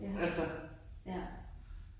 Ja. Ja.